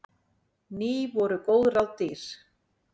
Ný voru góð ráð dýr.